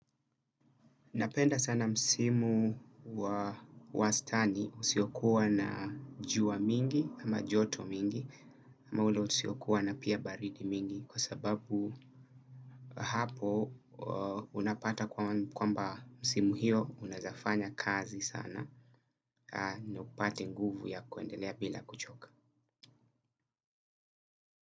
Napenda sana msimu wa wastani usiokuwa na jua mingi ama joto mingi ama ule usiokuwa na pia baridi mingi kwa sababu hapo unapata kwamba msimu hiyo unaezafanya kazi sana na upate nguvu ya kuendelea bila kuchoka.